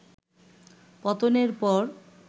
পতনের পর